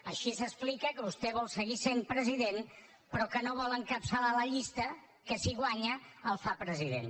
així s’explica que vostè vol seguir sent president però que no vol encapçalar la llista que si guanya el fa president